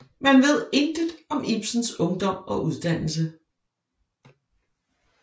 Man ved intet om Iebsens ungdom og uddannelse